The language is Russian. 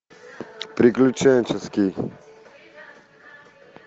приключенческий